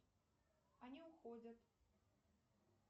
они уходят